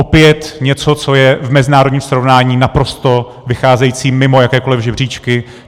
Opět něco, co je v mezinárodním srovnání naprosto vycházející mimo jakékoliv žebříčky.